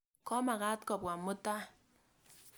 Ko makat kopwa mutai.